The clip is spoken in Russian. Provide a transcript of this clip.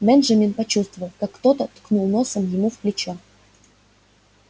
бенджамин почувствовал как кто-то ткнул носом ему в плечо